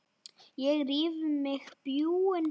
Ég ríf í mig bjúgun.